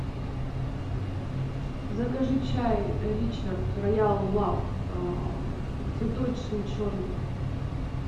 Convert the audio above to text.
закажи чай ричард роял лав цветочный черный